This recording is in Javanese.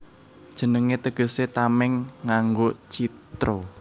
Jenengé tegesé Tamèng nganggo Citra